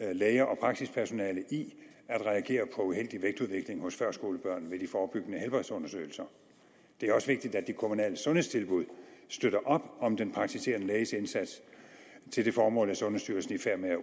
læger og praksispersonalet i at reagere på uheldig vægtudvikling hos førskolebørn ved de forebyggende helbredsundersøgelser det er også vigtigt at de kommunale sundhedstilbud støtter op om den praktiserende læges indsats til det formål er sundhedsstyrelsen i færd med at